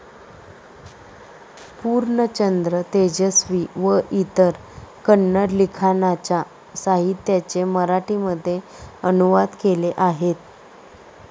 पूर्णचंद्र तेजस्वी व इतर कन्नड लिखाणाच्या साहित्याचे मराठीमध्ये अनुवाद केले आहेत.